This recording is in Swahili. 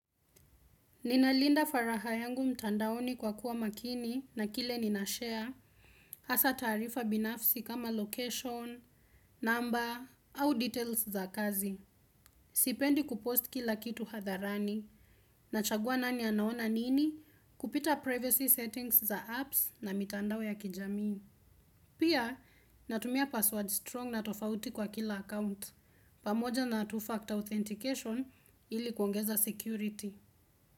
Ninalinda faraha yangu mtandaoni kwa kuwa makini na kile nina share, hasa tarifa binafsi kama location, number, au details za kazi. Sipendi kupost kila kitu hadharani. Nachagua nani anaona nini? Kupita privacy settings za apps na mitandao ya kijamii. Pia natumia pasword strong na tofauti kwa kila account. Pamoja na two-factor authentication ili kuongeza security.